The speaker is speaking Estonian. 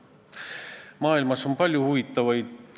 Teiste Euroopa riikide kogemused on meil aga huvitav teadmiseks võtta.